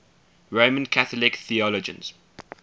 roman catholic theologians